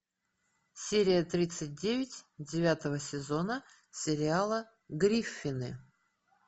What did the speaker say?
серия тридцать девять девятого сезона сериала гриффины